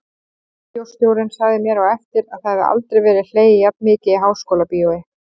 Bíóstjórinn sagði mér á eftir að það hefði aldrei verið hlegið jafn mikið í Háskólabíói.